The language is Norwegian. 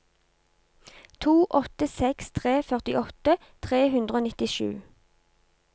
to åtte seks tre førtiåtte tre hundre og nittisju